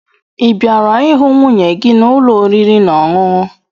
Ị bịara ịhụ nwunye gị n'ụlọ oriri na ọṅụṅụ?